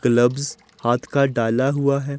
Gloves हाथ का डाला हुआ है।